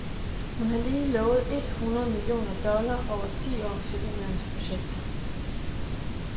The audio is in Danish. Hun har lige lovet et hundrede millioner dollar over ti år til ulandsprojekter.